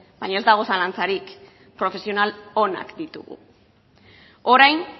baina ez dago zalantzarik profesional onak ditugu orain